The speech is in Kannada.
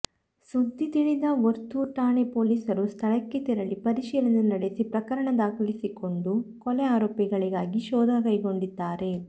ಸುದ್ದಿ ತಿಳಿದ ವರ್ತೂರು ಠಾಣೆ ಪೊಲೀಸರು ಸ್ಥಳಕ್ಕೆ ತೆರಳಿ ಪರಿಶೀಲನೆ ನಡೆಸಿ ಪ್ರಕರಣ ದಾಖಲಿಸಿಕೊಂಡು ಕೊಲೆ ಆರೋಪಿಗಳಿಗಾಗಿ ಶೋಧ ಕೈಗೊಂಡಿದ್ದಾರೆ